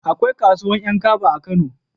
Akwai kasuwan 'yan kaba a kano